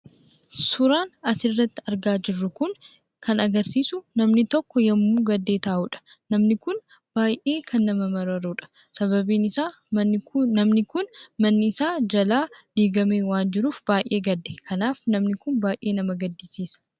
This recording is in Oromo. Suuraan asirratti argaa jirru kun, kan agarsiisu namni tokko yemmuu gaddee taa'udha. namni kun baay'ee kan nama mararudha. Sababiin isaa namni kun manni isa jalaa diigame waan jiruuf baay'ee gadde. Kanaaf namni kun baay'ee nama gaddisiisa.